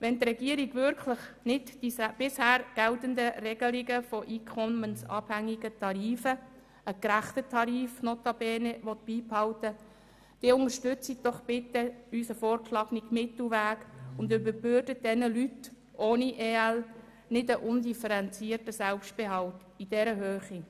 Wenn die Regierung nicht die bisher geltenden Regelungen von einkommensabhängigen Tarifen – ein gerechtes System notabene – beibehalten will, dann unterstützen Sie doch bitte unseren vorgeschlagenen Mittelweg und überbürden Sie den Leuten ohne EL nicht einen undifferenzierten Selbstbehalt in dieser Höhe.